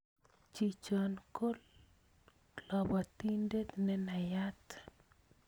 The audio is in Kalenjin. Chichon ko lobotin'det nenayat